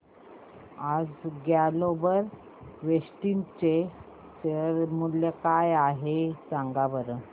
आज Global Vectra चे share मूल्य काय आहे सांगा बरं